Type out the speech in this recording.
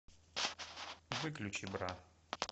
выключи бра